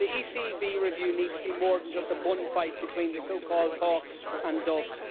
The ECB review needs to be more than just a bun fight between the so called hawks and doves.